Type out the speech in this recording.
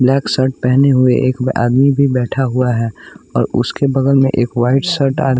black shirt पहने हुए एक आदमी भी बैठा हुआ है और उसके बगल में एक वाइट सर्ट --